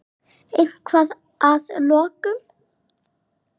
Eitthvað lokum?